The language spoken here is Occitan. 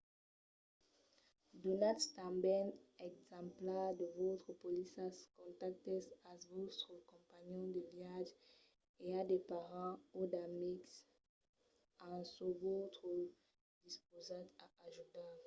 donatz tanben d'exemplars de vòstres polissas/contactes a vòstres companhons de viatge e a de parents o d’amics d'en çò vòstre dispausats a ajudar